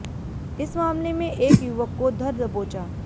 इस मामले में एक युवक को धर दबोचा